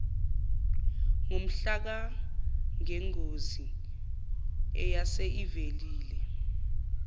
ngomhlakangengozi eyase ivelile